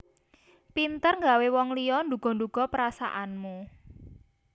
Pinter ngawé wong liya nduga nduga perasaanmu